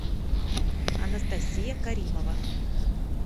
анастасия каримова